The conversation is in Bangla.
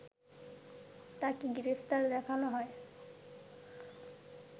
তাকে গ্রেপ্তার দেখানো হয়